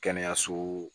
Kɛnɛyaso